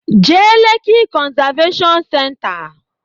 Jee Leki konzaveshon senta!